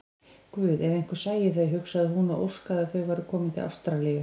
Guð, ef einhver sæi þau, hugsaði hún og óskaði að þau væru komin til Ástralíu.